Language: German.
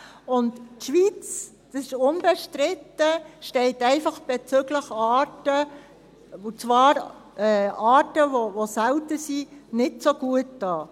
Die Schweiz – das ist unbestritten – steht einfach bezüglich Arten – und zwar Arten, die selten sind – nicht so gut da.